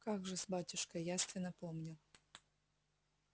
как же-с батюшка явственно помню